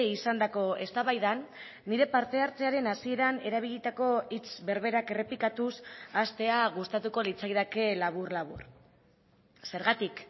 izandako eztabaidan nire parte hartzearen hasieran erabilitako hitz berberak errepikatuz hastea gustatuko litzaidake labur labur zergatik